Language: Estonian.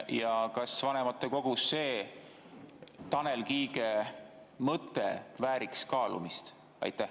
Ja kas see Tanel Kiige mõte vääriks kaalumist vanematekogus?